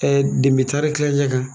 Ɛɛ tari tilancɛ kan